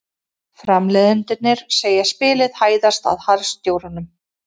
Framleiðendurnir segja spilið hæðast að harðstjórunum